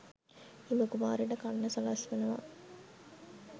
හිම කුමාරිට කන්න සලස්වනවා.